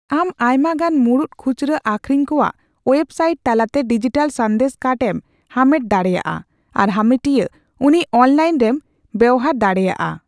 ᱟᱢ ᱟᱭᱢᱟᱜᱟᱱ ᱢᱩᱬᱩᱫ ᱠᱷᱩᱪᱨᱟᱹ ᱟᱠᱷᱨᱤᱧ ᱠᱚᱣᱟᱜ ᱳᱭᱮᱵᱥᱟᱭᱤᱴ ᱛᱟᱞᱟᱛᱮ ᱰᱤᱡᱤᱴᱟᱞ ᱥᱟᱸᱫᱮᱥ ᱠᱟᱨᱰ ᱮᱢ ᱦᱟᱢᱮᱴ ᱫᱟᱲᱮᱭᱟᱜᱼᱟ, ᱟᱨ ᱦᱟᱢᱮᱴᱤᱭᱟᱹ ᱩᱱᱤ ᱚᱱᱞᱟᱭᱤᱱ ᱨᱮᱢ ᱵᱮᱶᱦᱟᱨ ᱫᱟᱲᱮᱭᱟᱜᱼᱟ ᱾